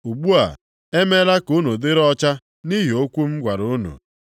Ugbu a, e meela ka unu dịrị ọcha nʼihi okwu m gwara unu.